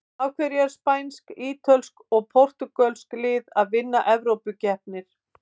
Af hverju eru spænsk, ítölsk og portúgölsk lið að vinna evrópukeppnir?